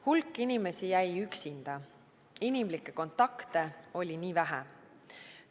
Hulk inimesi jäi üksinda, inimlikke kontakte oli väga vähe.